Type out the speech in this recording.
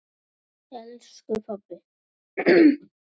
elsku pabbi.